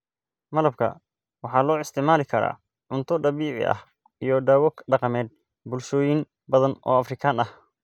Malabka waxaa loo isticmaali karaa cunto dabiici ah iyo dawo dhaqameed bulshooyin badan oo Afrikaan ah.